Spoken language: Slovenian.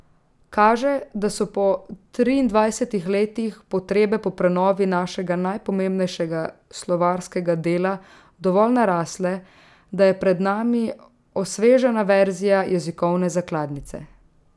Kaže, da so po triindvajsetih letih potrebe po prenovi našega najpomembnejšega slovarskega dela dovolj narasle, da je pred nami osvežena verzija jezikovne zakladnice.